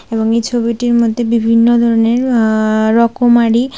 এবং এই ছবিটির মধ্যে বিভিন্ন ধরনের আঃ রকমারি--